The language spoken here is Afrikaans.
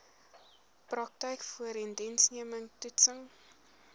praktyk voorindiensneming toetsing